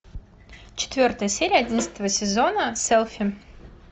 четвертая серия одиннадцатого сезона селфи